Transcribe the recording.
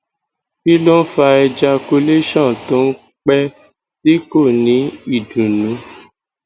kí ló ń fa ejacualtion ton pe tí kò ní idunnu